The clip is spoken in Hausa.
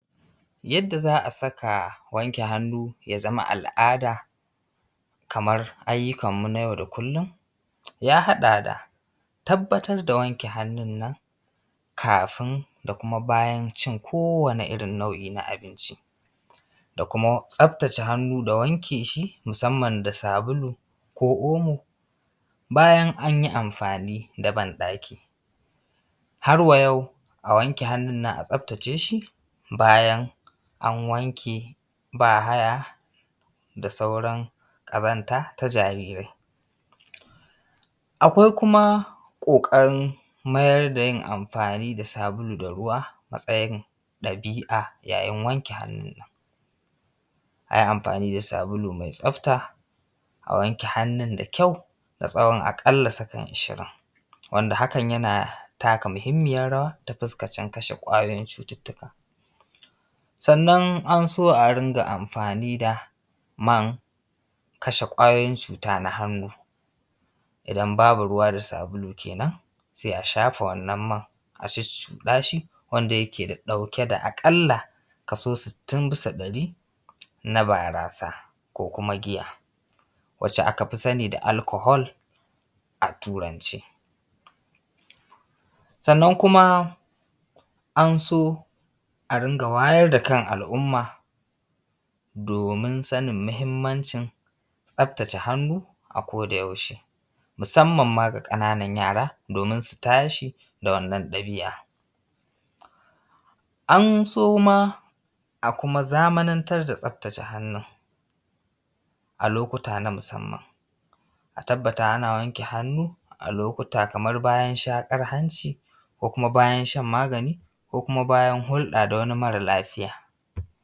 Yadda za a saka wanke hannu ya zama al’ada kamar ayyukan mu na yau da kullum, ya haɗa da tabbatar da wanke hannun nan kafin da kuma bayan cin kowanne irin nau’i na abinci, da kuma tsaftace hannu da wanke shi musamman da sabulu ko omo bayan anyi amfani da ban ɗaki. Har wa yau a wanke hannun nan a tsaftace shi bayan an wanke ba haya da sauran ƙazanta ta jarirai. Akwai kuma ƙoƙan mayar da yin amfani da sabulu da ruwa matsayin ɗabi’a. Yayin wanke hannu a yi amfani da sabulu mai tsafta a wanke hannun nan da kyau na tsawon aƙalla sakan ishirin, wanda hakan yana taka muhimmiyan rawa ta fuskacin kashe ƙwayoyin cututtuka, sannan an so a rinƙa amfani da man kashe ƙwayoyin cuta na hannu idan babu ruwa da sabulu kenan sai a shafa wannan man a cuccuɗa shi, wanda yake ɗauke da aƙalla kaso sittin bisa ɗari na barasa, ko kuma giya wanda aka fi sani da alcohol a turance. Sannan kuma an so a rinƙa wayar da kan al’umma domin sanin muhimmancin tsaftace hannu a koda yaushe musamman ma ga ƙananan yara, domin su tashi da wannan ɗabi’a. an so ma a kuma zamanantar da tsaftace hannun a lokuta na musamman a tabbata ana wanke hannu a lokuta kamar bayan shaƙar hanci ko kuma bayan shan magani ko kuma bayan hulɗa da wani mara lafiya.